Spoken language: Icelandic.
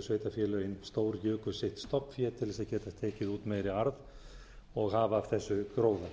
sveitarfélögin stórjuku sitt stofnfé til þess að geta tekið út meiri arð og hafa af þessu gróða